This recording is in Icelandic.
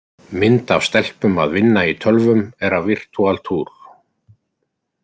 Mynd af stelpum að vinna í tölvum er af Virtual tour.